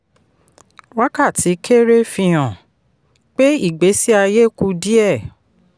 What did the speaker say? wákàtí kéré fihan pé ìgbésí aye kù díẹ̀.